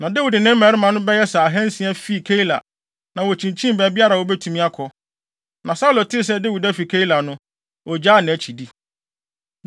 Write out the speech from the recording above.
Na Dawid ne ne mmarima bɛyɛ sɛ ahansia fii Keila, na wokyinkyin baabiara a wobetumi akɔ. Na Saulo tee sɛ Dawid afi Keila no, ogyaa nʼakyi di.